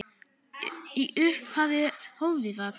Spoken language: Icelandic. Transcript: Í upphafi ófriðar